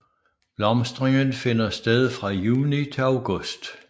Blomstringen finder sted fra juni til august